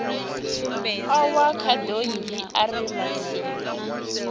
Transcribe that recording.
o wa khadonngi ari matsivha